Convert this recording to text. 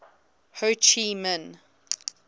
ho chi minh